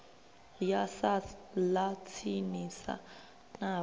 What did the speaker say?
ya sars ḽa tsinisa navho